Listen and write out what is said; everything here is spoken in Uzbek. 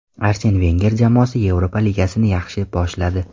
Arsen Venger jamoasi Yevropa Ligasini yaxshi boshladi.